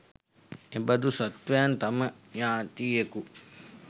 එබඳු සත්වයන් තම ඥාතියකු